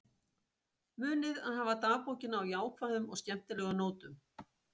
Munið að hafa dagbókina á jákvæðum og skemmtilegum nótum.